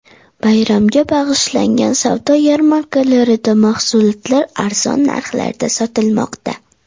Bayramga bag‘ishlangan savdo yarmarkalarida mahsulotlar arzon narxlarda sotilmoqda.